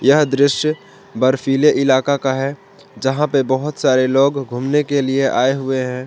यह दृश्य बर्फीले इलाका का है जहां पे बहोत सारे लोग घूमने के लिए आए हुए हैं।